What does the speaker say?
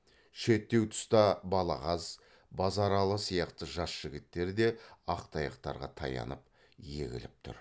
шеттеу тұста балағаз базаралы сияқты жас жігіттер де ақ таяқтарға таянып егіліп тұр